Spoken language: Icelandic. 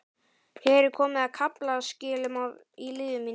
Hér er komið að kaflaskilum í lífi mínu.